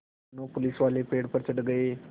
दोनों पुलिसवाले पेड़ पर चढ़ गए